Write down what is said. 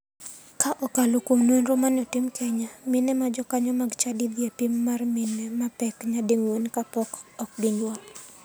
Ka okalo kuom nonro mane otim kenya, mine ma jokanyo mag chadi dhie e pim mar mine ma pek nyadi ng'wen ka podi ok ginyuol.